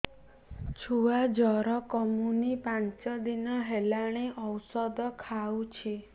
ଛୁଆ ଜର କମୁନି ପାଞ୍ଚ ଦିନ ହେଲାଣି ଔଷଧ ଖାଉଛି